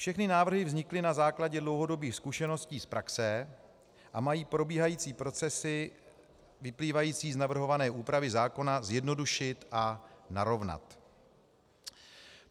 Všechny návrhy vznikly na základě dlouhodobých zkušeností z praxe a mají probíhající procesy vyplývající z navrhované úpravy zákona zjednodušit a narovnat.